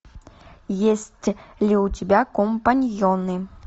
есть ли у тебя компаньоны